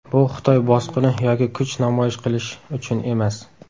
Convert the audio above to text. Bu Xitoy bosqini yoki kuch namoyish qilish uchun emas.